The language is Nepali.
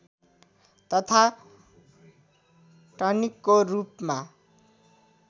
तथा टनिकको रूपमा